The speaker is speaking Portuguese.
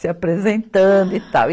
Se apresentando e tal.